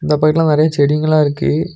இந்த பக்கத்துல நெறைய செடிங்கலா இருக்கு.